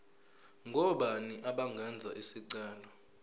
ngobani abangenza isicelo